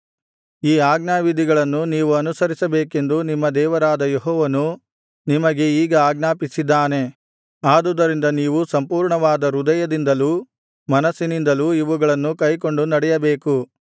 ಈ ಆಜ್ಞಾವಿಧಿಗಳನ್ನು ನೀವು ಅನುಸರಿಸಬೇಕೆಂದು ನಿಮ್ಮ ದೇವರಾದ ಯೆಹೋವನು ನಿಮಗೆ ಈಗ ಆಜ್ಞಾಪಿಸಿದ್ದಾನೆ ಆದುದರಿಂದ ನೀವು ಸಂಪೂರ್ಣವಾದ ಹೃದಯದಿಂದಲೂ ಮನಸ್ಸಿನಿಂದಲೂ ಇವುಗಳನ್ನು ಕೈಕೊಂಡು ನಡೆಯಬೇಕು